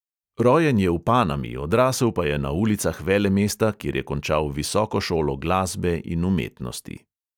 Rojen je v panami, odrasel pa je na ulicah velemesta, kjer je končal visoko šolo glasbe in umetnosti.